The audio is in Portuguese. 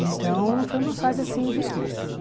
Então, foi uma fase, assim, riquíssima.